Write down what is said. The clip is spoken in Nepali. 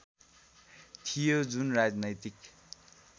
थियो जुन राजनैतिक